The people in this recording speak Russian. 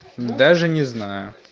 даже не знаю